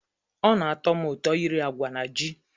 Ọ na-atọ m ụtọ iri agwa na ji.